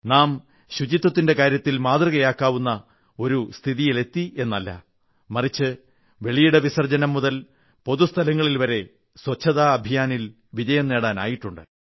നാം ശുചിത്വത്തിന്റെ കാര്യത്തിൽ മാതൃകയാക്കാവുന്ന ഒരു ഒരു സ്ഥിതിയിലെത്തിയെന്നല്ല മറിച്ച് വെളിയിട വിസർജ്ജനം മുതൽ പൊതു സ്ഥലങ്ങളിൽ വരെ സ്വച്ഛതാ അഭിയാനിൽ വിജയം നേടാനായിട്ടുണ്ട്